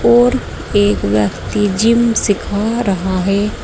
और एक व्यक्ति जिम सीखा रहा है।